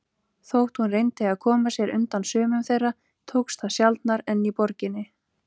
Þótt hún reyndi að koma sér undan sumum þeirra tókst það sjaldnar en í borginni.